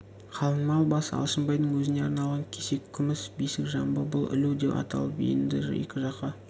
қалыңмал басы алшынбайдың өзіне арналған кесек күміс бесік жамбы бұл ілу деп аталып еді екі жаққа